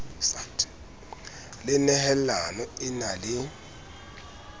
le nehelano e nang le